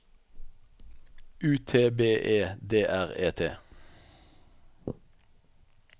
U T B E D R E T